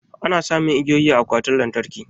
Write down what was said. Ana samun igiyoyi a akwatin lantarki.